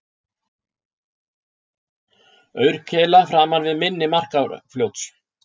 Aurkeila framan við mynni Markarfljóts